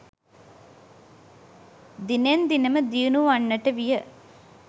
දිනෙන් දින ම දියුණු වන්නට විය.